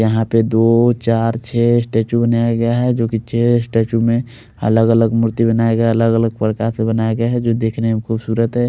और यहाँ पर दो चार छे स्टेच्यु बने हुए गये है जो की छे स्टेच्यु में अलग अलग मूर्ति बनाई गया है अलग अलग प्रकार से बनाया गया है जो की दिख रहे है खुबसूरत है।